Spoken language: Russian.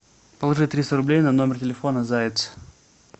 положи триста рублей на номер телефона заяц